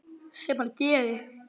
Sem hann gerir.